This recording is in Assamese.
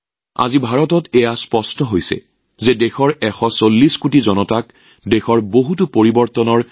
আজি ভাৰতত স্পষ্টকৈ দেখা গৈছে যে দেশৰ ১৪০ কোটি জনসাধাৰণৰ নেতৃত্বত বহু পৰিৱৰ্তন হৈছে